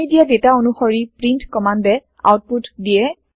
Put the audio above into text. আমি দিয়া দাতা অনুশৰি প্ৰীন্ট কমান্দে আওতপুত দিয়ে